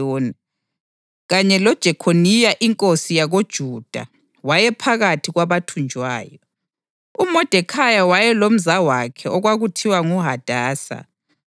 owayethunjwe eJerusalema nguNebhukhadineza inkosi yaseBhabhiloni, kanye loJekhoniya inkosi yakoJuda wayephakathi kwabathunjwayo.